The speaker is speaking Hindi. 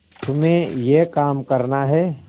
तुम्हें यह काम करना है